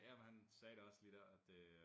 Ja men han sagde det også lige dér at det øh